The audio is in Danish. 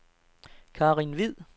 Karin Hvid